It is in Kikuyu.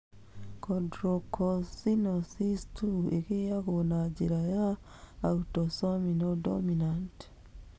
Chondrocalcinosis 2 ĩigagwo na njĩra ya autosomal dominant.